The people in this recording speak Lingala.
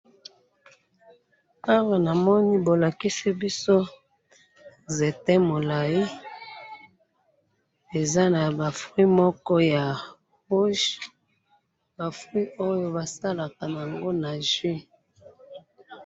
Awa namoni bolakisi biso nzete mulayi, eza naba fruits moko ya rouge, ba fruits Oyo basalaka naango ba jus